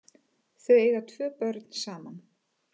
Þau eiga tvo börn saman